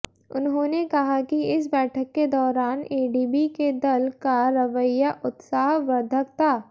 उन्होंने कहा कि इस बैठक के दौरान एडीबी के दल का रवैया उत्साहवर्द्धक था